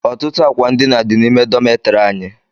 Ọtụtụ àkwà ndina dị n'ime dọmetiri anyị